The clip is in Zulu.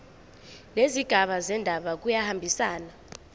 nezigaba zendaba kuyahambisana